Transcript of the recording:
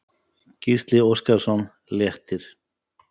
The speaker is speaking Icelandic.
Gísli Óskarsson: Léttir?